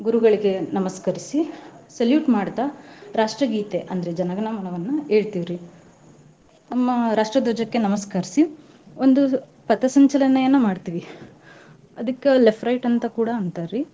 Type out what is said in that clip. ಗುರುಗಳಿಗೆ ನಮಸ್ಕರಿಸಿ salute ಮಾಡ್ತಾ ರಾಷ್ಟ್ರಗೀತೆ ಅಂದ್ರೆ ಜನ ಗಣ ಮನವನ್ನ ಹೇಳ್ತಿವ್ರಿ. ನಮ್ಮ ರಾಷ್ಟ್ರದ್ವಜಕ್ಕೆ ನಮ್ಸ್ಕರಿಸಿ ಒಂದ್ ಪತಸಂಚಲನೆಯನ್ನ ಮಾಡ್ತೀವಿ ಅದಕ್ಕ left right ಅಂತ ಕೂಡಾ ಅಂತಾರ್ರಿ.